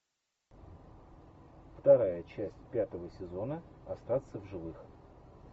вторая часть пятого сезона остаться в живых